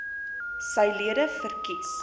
sy lede verkies